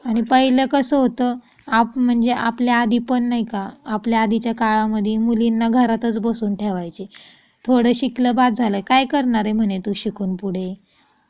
आणि पहिलं कसं होतं आप म्हणजे आपल्या आधी पण नाही का आपल्या आधीच्या काळामध्ये मुलींना घरातच बसून ठेवायचे. थोडे शिकले काय करणारे म्हणे तू शिकून पुढे